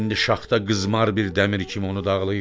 İndi şaxta qızmar bir dəmir kimi onu dağlayır.